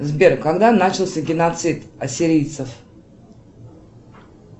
сбер когда начался геноцид ассирийцев